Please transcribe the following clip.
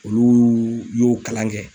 Olu y'o kalan kɛ.